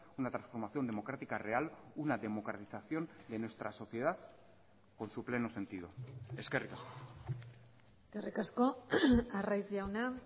una transformación democrática real una democratización de nuestra sociedad con su pleno sentido eskerrik asko eskerrik asko arraiz jauna